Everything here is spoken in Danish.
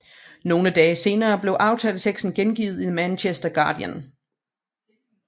Nogle dage senere blev aftaleteksten gengivet i The Manchester Guardian